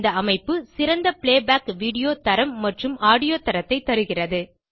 இந்த அமைப்பு சிறந்த பிளேபேக் வீடியோ தரம் மற்றும் ஆடியோ தரத்தை தருகிறது